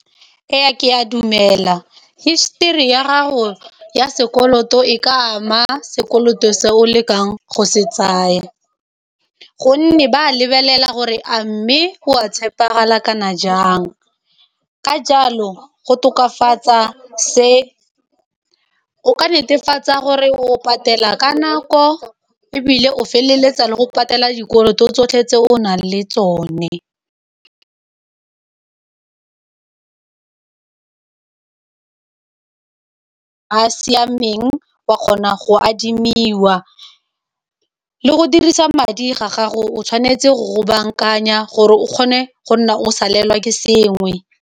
E ya ke ya dumela histori ya gago ya sekoloto e ka ama sekoloto se o lekang go se tsaya, gonne ba lebelela gore a mme go a tshepegala kana jang ka jalo go tokafatsa se o ka netefatsa gore o patela ka nako e bile o feleletsa le go patela dikoloto o tsotlhe tse o nang le tsone a siameng wa kgona go adima le go dirisa madi ga gago o tshwanetse go go bankanya gore o kgone go nna o salelwa ke sengwe.